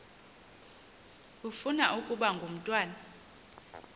ufuna ukaba ngumntwana